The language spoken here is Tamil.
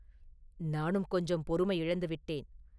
“நானும் கொஞ்சம் பொறுமை இழந்து விட்டேன்.